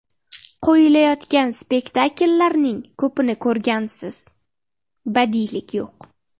Qo‘yilayotgan spektakllarning ko‘pini ko‘rsangiz, badiiylik yo‘q.